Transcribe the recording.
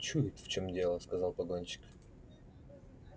чует в чём дело сказал погонщик